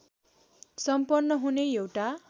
सम्पन्न हुने एउटा